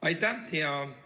Aitäh, hea juhataja!